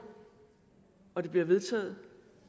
og at det bliver vedtaget